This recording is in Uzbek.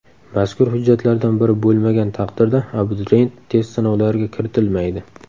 Mazkur hujjatlardan biri bo‘lmagan taqdirda abituriyent test sinovlariga kiritilmaydi.